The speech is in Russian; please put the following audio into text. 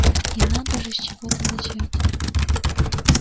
и надо же с чего-то начать